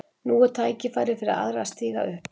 Nú er tækifærið fyrir aðra að stíga upp.